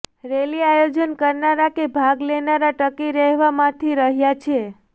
rally આયોજન કરનારા કે ભાગ લેનારા ટકી રહેવા મથી રહ્યાં છે